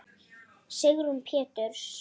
Sigrún Péturs.